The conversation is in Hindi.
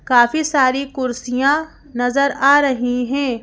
काफी सारी कुर्सियाँ नजर आ रही हैं।